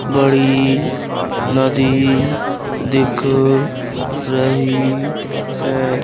बड़ी नदी दिख रही है।